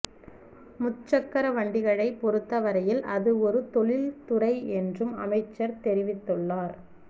முச்சக்கர வண்டிகளை பொறுத்த வரையில் அது ஒரு தொழில்துறை என்றும் அமைச்சர் தெரிவித்துள்ளார்